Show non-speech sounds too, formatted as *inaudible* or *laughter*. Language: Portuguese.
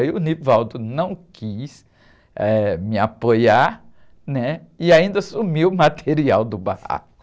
Aí o *unintelligible* não quis, eh, me apoiar, né? E ainda sumiu o material do barraco.